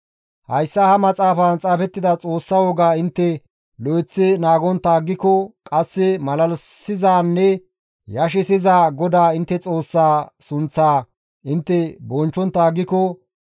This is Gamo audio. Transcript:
Hayssa ha maxaafan xaafettida Xoossa wogaa intte lo7eththi naagontta aggiko qasse malalisizanne yashissiza GODAA intte Xoossa sunththaa intte bonchchontta aggiko,